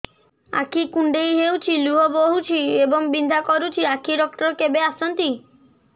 ଆଖି କୁଣ୍ଡେଇ ହେଉଛି ଲୁହ ବହୁଛି ଏବଂ ବିନ୍ଧା କରୁଛି ଆଖି ଡକ୍ଟର କେବେ ଆସନ୍ତି